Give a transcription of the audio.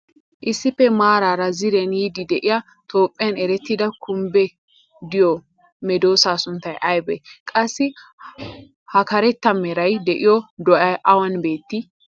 issippe maarara ziiriyan yiidi diya toophphiyan erettida kumbbee diyo medoosaa sunttay aybee? qassi ha karetta meray diyo do'ay awan beettii?